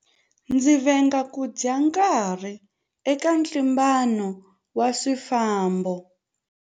Ndzi venga ku dya nkarhi eka ntlimbano wa swifambo.